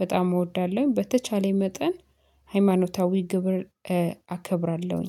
በጣም እወዳለሁ። በተቻለኝ መጠን ሃይማኖታዊ ግብር አከብራለሁኝ።